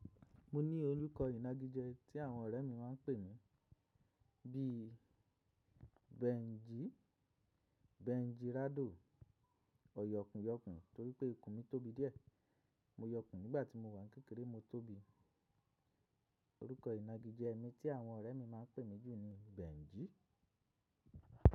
Mo ní orúkọ ìnagijẹ tí àwọn ọ̀rẹ́ mi máa ń pè mí bí i Benji, Benji Rado, ọ̀yọ̀kùnyọ̀kùn torí pé ikun mi tóbi díẹ̀. Mo yọkùn nígbà tí mo wà ní kékeré mo tóbi. Orúkọ ìnagijẹ mi tí àwọn ọ̀rẹ́ mi ma ń pè mí jù ni Benji.